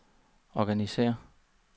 organisér